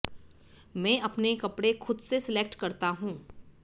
मैं अपने कपड़े खुद से सिलेक्ट करता हूं